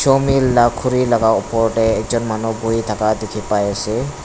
sawmill la khuri laka opor te ekjun buhi thaka dikhi pai ase.